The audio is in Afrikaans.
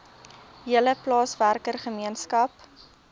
hele plaaswerker gemeenskap